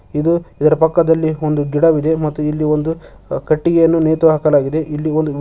ಇದು ಇದರ ಪಕ್ಕದಲ್ಲಿ ಒಂದು ಗಿಡವಿದೆ ಮತ್ತು ಇಲ್ಲಿ ಒಂದು ಕಟ್ಟಿಗೆಯನ್ನು ನೆತು ಹಾಕಲಾಗಿದೆ ಇಲ್ಲಿ ಒಂದು--